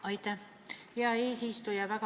Aitäh, hea eesistuja!